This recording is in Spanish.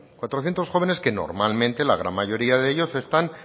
cuatrocientos jóvenes que normalmente la gran mayoría de ellos están